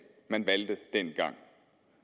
man valgte dengang